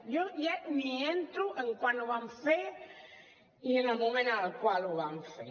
jo ja no entro en quan ho van fer i en el moment en el qual ho van fer